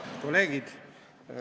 Head kolleegid!